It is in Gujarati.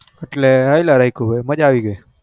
એટલે હલયા રાખ્યું ભાઈ મજા આવી ગઈ